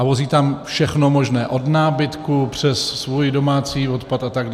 A vozí tam všechno možné - od nábytku přes svůj domácí odpad atd.